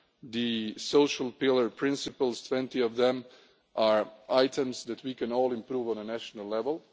The social pillar principles, 20 of them, are items that we can all improve on a national